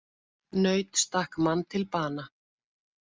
Naut stakk mann til bana